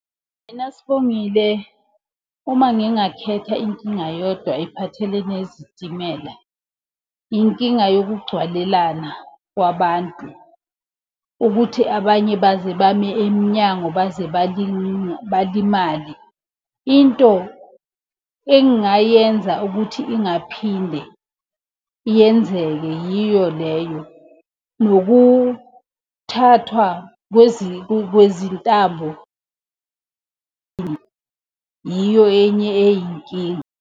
Mina Sibongile uma ngingakhetha inkinga eyodwa ephathelene nezitimela, inkinga yokugcwalelana kwabantu. Ukuthi abanye baze bame emnyango, baze balimale. Into engingayenza ukuthi ingaphinde yenzeke yiyo leyo. Nokuthathwa kwezintambo yiyo enye eyinkinga.